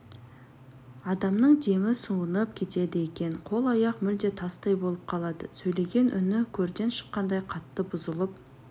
адамның демі суынып кетеді екен қол-аяқ мүлде тастай болып қалады сөйлеген үні көрден шыққандай қатты бұзылып